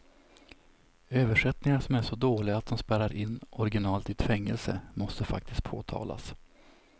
Översättningar som är så dåliga att de spärrar in originalet i ett fängelse måste faktiskt påtalas.